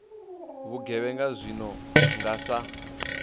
vhugevhenga zwi no nga sa